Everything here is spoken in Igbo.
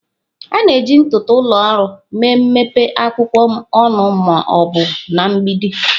A na-eji ntụtụ ụlọ ọrụ mee mpempe akwụkwọ ọnụ ma ọ bụ na mgbidi.